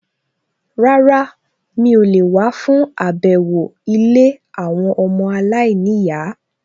Rárá, mi ò lè wá fún àbẹ̀wò ilé àwọn ọmọ aláìníyàá